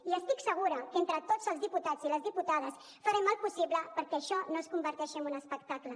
i estic segura que entre tots els diputats i les diputades farem el possible perquè això no es converteixi en un espectacle